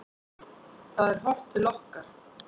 Það er horft til okkar.